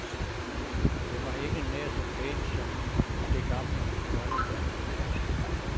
Det var ikke nær så pænt som det gamle, grønne danske pas.